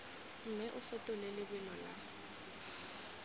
mme o fetole lebelo la